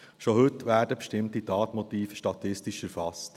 Schon heute werden bestimmte Tatmotive statistisch erfasst.